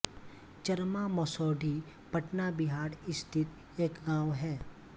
चरमा मसौढी पटना बिहार स्थित एक गाँव है